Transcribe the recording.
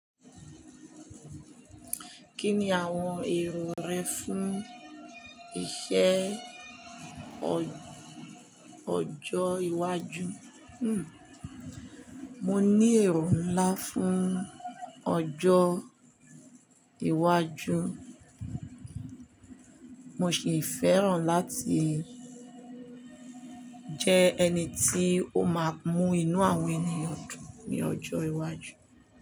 Kí ni àwọn èrò rẹ fún iṣẹ́ ọ ọjọ́ iwájú? Hmm. Mo ní èrò ńlá fún ọjọ́ iwájú. Mo sì fẹ́ràn láti jẹ́ ẹni tí ó máa mú inú àwọn ènìyàn dùn ní ọjọ́ iwájú.